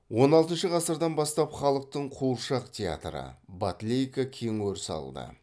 он алтыншы ғасырдан бастап халықтың қуыршақ театры батлейка кең өріс алды